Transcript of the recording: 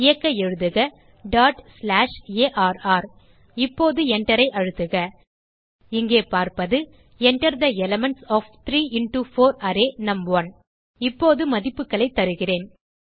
இயக்க எழுதுக dot slash R இப்போது Enterஐ அழுத்துக இங்கே பார்ப்பது Enter the elements of 3 into 4 array நும்1 இப்போது மதிப்புகளைத் தருகிறேன்